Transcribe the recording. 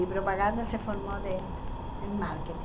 E propaganda se formou de em marketing.